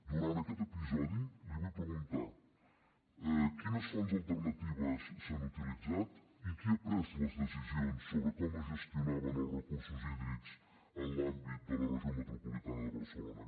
durant aquest episodi li vull preguntar quines fonts alternatives s’han utilitzat i qui ha pres les decisions sobre com es gestionaven els recursos hídrics en l’àmbit de la regió metropolitana de barcelona